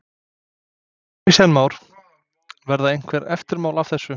Kristján Már: Verða einhver eftirmál af þessu?